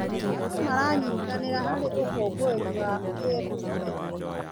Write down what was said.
Andũ maranyitanĩra harĩ ũkũngũĩri wa kĩndũire.